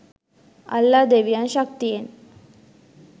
අල්ලා ‍දෙවියන් ශක්ති‍යෙන්